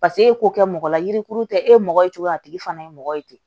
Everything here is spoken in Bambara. Paseke e k'o kɛ mɔgɔ la yirikuru tɛ e mɔgɔ ye cogo a tigi fana ye mɔgɔ ye ten